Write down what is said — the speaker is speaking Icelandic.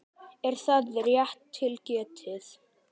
Er það rétt til getið?